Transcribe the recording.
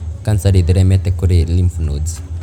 kanca ndĩtheremete kũrĩ lymph nodes.